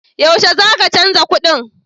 Yaushe za ka canza kuɗin?